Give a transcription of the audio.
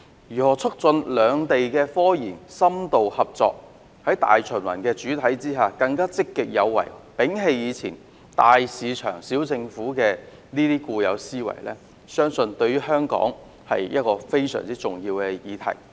如何促進兩地科研深度合作，在大循環的主體之下更積極有為，並且摒棄"大市場、小政府"的固有思維，對香港也是非常重要的議題。